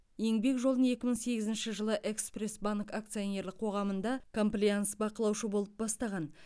еңбек жолын екі мың сегізінші жылы экспресс банк акционерлік қоғамында комплаенс бақылаушы болып бастаған